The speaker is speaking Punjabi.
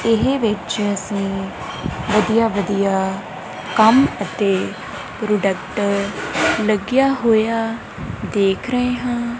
ਏਹ ਵਿਚ ਅੱਸੀਂ ਵਧੀਆ ਵਧੀਆ ਕੰਮ ਅਤੇ ਪ੍ਰੋਡਕਟ ਲੱਗਿਆ ਹੋਇਆ ਦੇਖ ਰਹੇ ਹਾਂ।